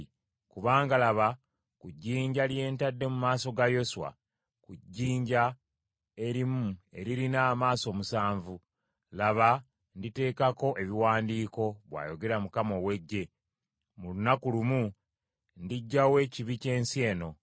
Kubanga laba, ku jjinja lye ntadde mu maaso ga Yoswa, ku jjinja erimu eririna amaaso omusanvu, laba nditeekako ebiwandiiko,’ bw’ayogera Mukama ow’Eggye. ‘Mu lunaku lumu ndiggyawo ekibi ky’ensi eno.